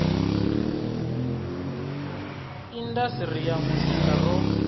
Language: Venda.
indas ri ya muzika ro